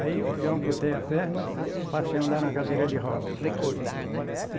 Aí, eu amputei a perna eu passei a andar na cadeira de roda.